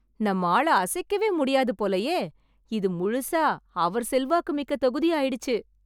நம்ம ஆள அசைக்கவே முடியாது போலயே, இது முழுசா அவர் செல்வாக்கு மிக்க தொகுதி ஆயிடுச்சு